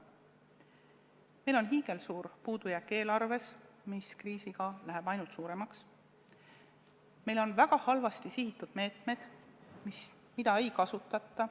Meil on hiigelsuur puudujääk eelarves, mis kriisiga läheb ainult suuremaks, meil on väga halvasti sihitud meetmed, mida ei kasutata.